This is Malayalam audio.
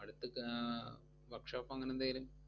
അടുത്തക്ക് ആഹ് workshop ഓ അങ്ങനെന്തേലും